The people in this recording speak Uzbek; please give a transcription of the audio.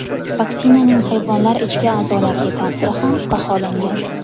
Vaksinaning hayvonlar ichki a’zolariga ta’siri ham baholangan.